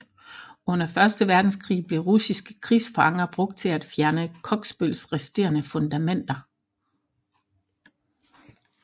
Under Første Verdenskrig blev russiske krigsfanger brugt til at fjerne Kogsbøls resterende fundamenter